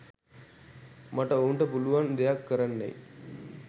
මට ඔවුන්ට පුළුවන් දෙයක් කරන්නැයි